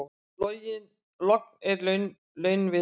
Logn er launviðri.